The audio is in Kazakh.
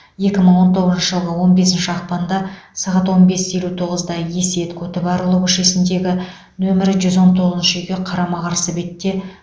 екі мың он тоғызыншы жылғы он бесінші ақпанда сағат он бес елу тоғыз да есет көтібарұлы көшесіндегі нөмірі жүз он тоғызыншы үйге қарама қарсы бетте